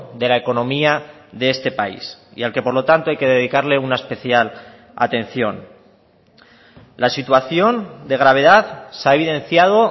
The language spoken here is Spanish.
de la economía de este país y al que por lo tanto hay que dedicarle una especial atención la situación de gravedad se ha evidenciado